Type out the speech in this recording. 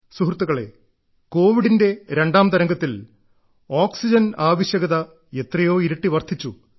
സുഹൃത്തുക്കളെ കോവിഡിന്റെ രണ്ടാം തരംഗത്തിൽ ഓക്സിജൻ ആവശ്യകത എത്രയോ ഇരട്ടി വർദ്ധിച്ചു